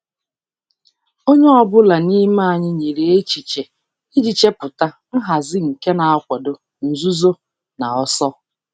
Onye ọ bụla n'ime anyị nyere echiche iji chepụta nhazi nke na-akwado nzuzo na ọsọ.